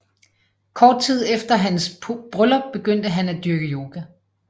Kort tid efter hans bryllup begyndte han at dyrke yoga